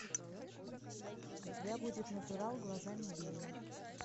у тебя будет натурал глазами гея